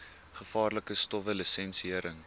gevaarlike stowwe lisensiëring